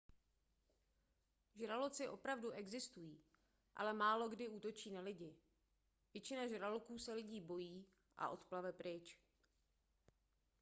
žraloci opravdu existují ale málokdy útočí na lidi většina žraloků se lidí bojí a odplave pryč